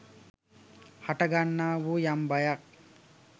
හටගන්නා වූ යම් බයක්